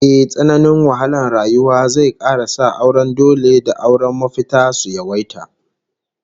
Ehh, tsananin wahalar rayuwa zai kara sa auren dole da auren mafitar su yawaita